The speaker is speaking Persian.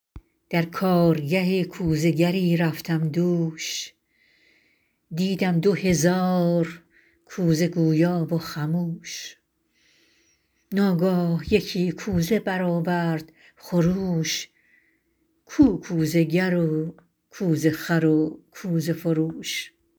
در کارگه کوزه گری رفتم دوش دیدم دو هزار کوزه گویا و خموش ناگاه یکی کوزه برآورد خروش کو کوزه گر و کوزه خر و کوزه فروش